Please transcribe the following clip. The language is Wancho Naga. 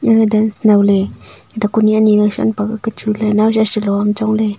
ega dance naole daku ni anyi shanpak ka chu le naosa chalo am chong le.